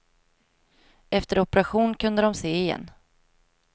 Efter operation kunde de se igen.